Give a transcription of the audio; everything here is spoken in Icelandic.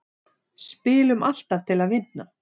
Spilum alltaf til að vinna